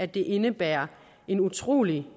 det indebærer en utrolig